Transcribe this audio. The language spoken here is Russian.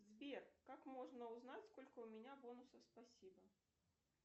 сбер как можно узнать сколько у меня бонусов спасибо